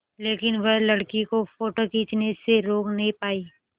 लेकिन वह लड़की को फ़ोटो खींचने से रोक नहीं पाई